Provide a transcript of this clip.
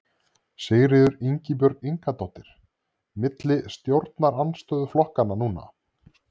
Sigríður Ingibjörg Ingadóttir: Milli stjórnarandstöðuflokkanna núna?